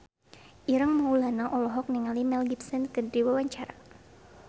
Ireng Maulana olohok ningali Mel Gibson keur diwawancara